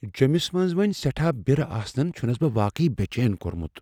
جِمس منز وونہِ سیٹھاہ بیرٕ آسنن چھٗنس بہٕ واقعی بے٘ چین کو٘رمٗت ۔